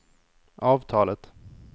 avtalet